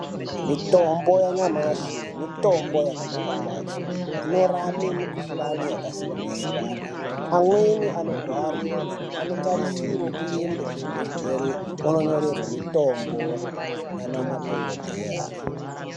Mitombo yanyamashi mitombo inorapa kwazvo inorapa mikuhlani yakasiyana-siyana amweni anorwara anotarisirwa kuenda kuzvibhedhlera vondonyorerwa mitombo nana madhokodheya.